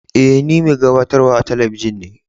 E, ni mai gabatarwa a teleibijin ne.